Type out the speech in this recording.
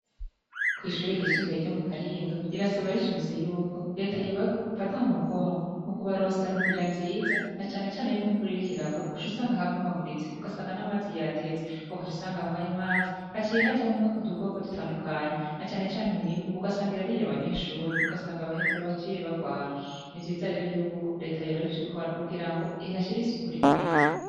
Kw'ishuri ryisumbeye ryo mu karindo rirasaba ricimise yuko reta yibae fata mu mugongo mu kubarosa nzira nziza na canecane yuko imvura irikiragwa ucha usanga habumaguritse ugasanga n'amaze yateze uko cusangamwaye, maze haciye hajamwe ut ukoko dutandukanye na canecane mibe ugasangira ari yo abanyeshuri ugasanga abaheza bacie barwara ni ivyizariro yuko leta yorora bico ukora kugira ngo ihi hashira isi uku ri kwiye.